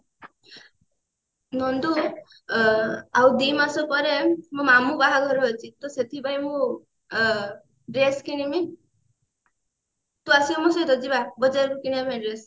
ନନ୍ଦୁ ଆଉ ଦିମାସ ପରେ ମୋ ମାମୁଁ ବାହାଘର ଅଛି ତ ସେଥିପାଇଁ ମୁଁ ଅ dress କିଣିବି ତୁ ଆସିବୁ ମୋ ସହିତ ଯିବା ବଜାରକୁ କିଣିବା ପାଇଁ dress